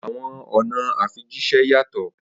Awọn ọna ifijiṣẹ yatọ.